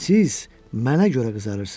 Siz mənə görə qızarırsınız.